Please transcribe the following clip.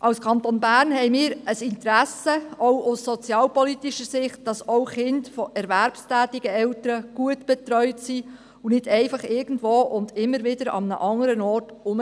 Auch aus sozialpolitischer Sicht haben wir als Kanton Bern ein Interesse daran, dass auch Kinder von erwerbstätigen Eltern gut betreut sind, und das nicht einfach irgendwo oder immer wieder an anderen Orten.